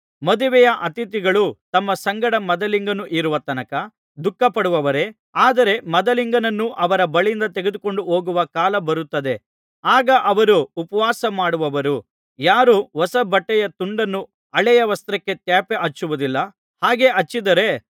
ಮದುವೆಯ ಅತಿಥಿಗಳು ತಮ್ಮ ಸಂಗಡ ಮದಲಿಂಗನು ಇರುವ ತನಕ ದುಃಖಪಡುವರೇ ಆದರೆ ಮದಲಿಂಗನನ್ನು ಅವರ ಬಳಿಯಿಂದ ತೆಗೆದುಕೊಂಡುಹೋಗುವ ಕಾಲ ಬರುತ್ತದೆ ಆಗ ಅವರು ಉಪವಾಸಮಾಡುವರು ಯಾರೂ ಹೊಸ ಬಟ್ಟೆಯ ತುಂಡನ್ನು ಹಳೆಯ ವಸ್ತ್ರಕ್ಕೆ ತ್ಯಾಪೆ ಹಚ್ಚುವುದಿಲ್ಲ ಹಾಗೆ ಹಚ್ಚಿದರೆ